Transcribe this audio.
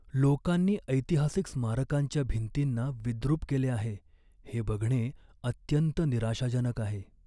लोकांनी ऐतिहासिक स्मारकांच्या भिंतींना विद्रूप केले आहे हे बघणे अत्यंत निराशाजनक आहे.